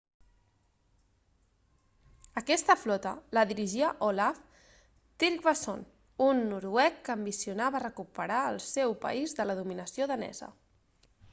aquesta flota la dirigia olaf trygvasson un noruec que ambicionava recuperar el seu país de la dominació danesa